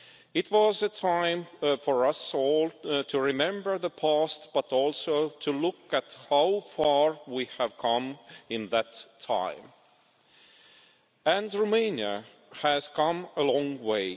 It was a time for us all to remember the past, but also to look at how far we have come in that time, and Romania has come a long way.